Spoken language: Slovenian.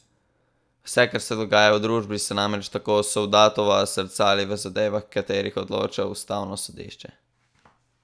Vse, kar se dogaja v družbi, se namreč, tako Sovdatova, zrcali v zadevah, v katerih odloča ustavno sodišče.